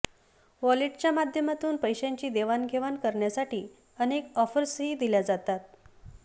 वॉलेटच्या माध्यमातून पैशांची देवाणघेवाण करण्यासाठी अनेक ऑफर्सही दिल्या जातात